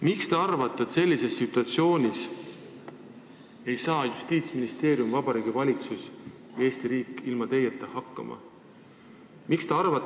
Miks te arvate, et sellises situatsioonis ei saa Justiitsministeerium, Vabariigi Valitsus, Eesti riik ilma teieta hakkama?